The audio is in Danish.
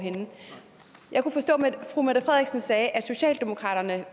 fru mette frederiksen sagde at socialdemokraterne